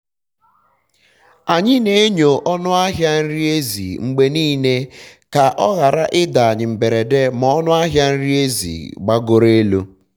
anyị na-enyo ọnụ ahịa nri ezi mgbe nile ka ọ ghara ịda anyi mberede ma ọnụ ahịa nri ezi gbagoro elu